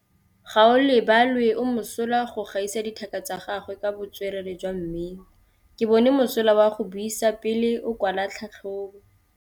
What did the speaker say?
Gaolebalwe o mosola go gaisa dithaka tsa gagwe ka botswerere jwa mmino. Ke bone mosola wa go buisa pele o kwala tlhatlhobô.